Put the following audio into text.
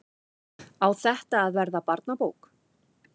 Á þetta að verða barnabók?